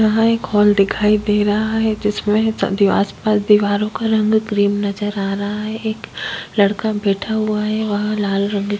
यहाँ एक हॉल दिखाई दे रहा है जिसमें सा दिवस पर दीवारों का रंग क्रीम नज़र आ रहा है एक लड़का बैठा हुआ है वह लाल रंग--